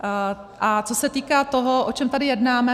A co se týká toho, o čem tady jednáme.